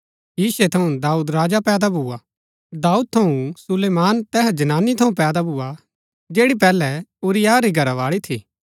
यिशै थऊँ दाऊद राजा पैदा भुआ दाऊद थऊँ सुलैमान तैहा जनानी थऊँ पैदा भुआ जैड़ी पैहलै उरिय्याह री घरावाळी थी